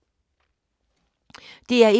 DR1